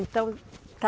Então está